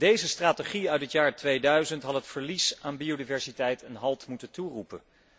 Deze strategie uit het jaar 2000 had het verlies aan biodiversiteit een halt moeten toeroepen.